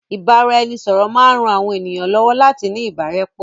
Ìbáraẹnisọ̀rọ̀ maa n ran àwọn ènìyàn lọ́wọ́ láti ní ìbárẹ́pọ́